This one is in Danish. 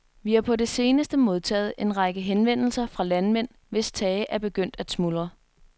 Vi har på det seneste modtaget en række henvendelser fra landmænd, hvis tage er begyndt at smuldre.